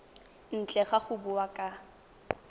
ntle ga go bua ka